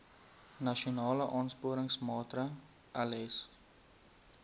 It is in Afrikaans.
nasionale aansporingsmaatre ls